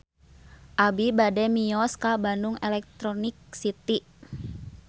Abi bade mios ka Bandung Electronic City